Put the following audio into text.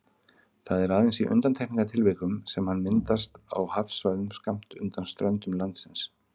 Það er aðeins í undantekningartilvikum sem hann myndast á hafsvæðum skammt undan ströndum landsins.